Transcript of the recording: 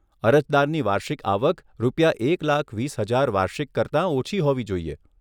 અરજદારની વાર્ષિક આવક રૂપિયા એક લાખ વીસ હજાર વાર્ષિક કરતાં ઓછી હોવી જોઈએ.